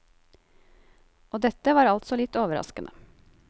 Og dette var altså litt overraskende.